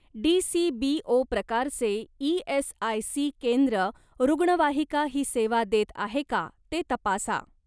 DCBO प्रकारचे ESIC. केंद्र रुग्णवाहिका ही सेवा देत आहे का ते तपासा.